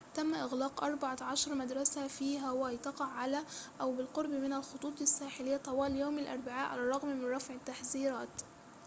تم إغلاق أربع عشرة مدرسة في هاواي تقع على أو بالقرب من الخطوط الساحليّة طوال يوم الأربعاء على الرغم من رفع التحذيرات